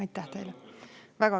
Aitäh teile!